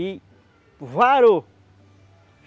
E varou!